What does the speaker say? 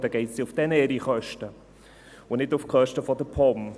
Dann geht es ja auf deren Kosten, und nicht auf die Kosten der POM.